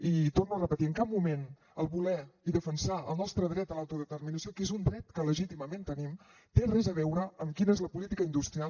i ho torno a repetir en cap moment el voler defensar el nostre dret a l’autodeterminació que és un dret que legítimament tenim té res a veure amb quina és la política industrial